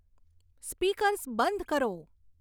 speakers બંધ કરો